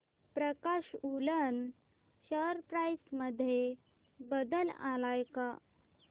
प्रकाश woollen share price मध्ये बदल आलाय का